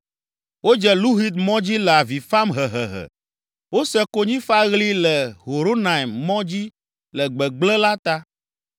Wodze Luhit mɔ dzi le avi fam hehehe. Wose konyifaɣli le Horonaim mɔ dzi le gbegblẽ la ta.